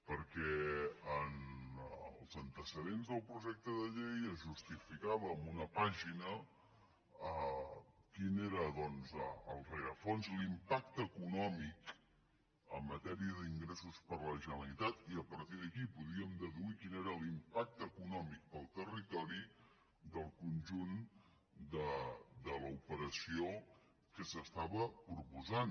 perquè en els antecedents del projecte de llei es justificava en una pàgina quin era el rerefons l’impacte econòmic en matèria d’ingressos per a la generalitat i a partir d’aquí podíem deduir quin era l’impacte econòmic per al territori del conjunt de l’operació que s’estava proposant